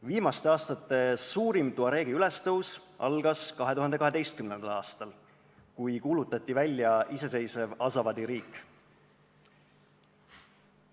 Viimaste aastate suurim tuareegi ülestõus algas 2012. aastal, kui kuulutati välja iseseisev Azawadi riik.